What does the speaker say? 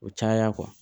O caya